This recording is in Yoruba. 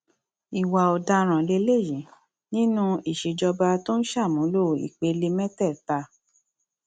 ìwà ọdaràn lélẹyìí lélẹyìí nínú ìṣèjọba tó ń ṣàmúlò ìpele mẹtẹẹta